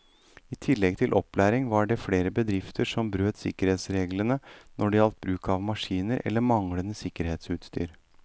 I tillegg til opplæring var det flere bedrifter som brøt sikkerhetsreglene når det gjelder bruk av maskiner eller manglende sikkerhetsutstyr.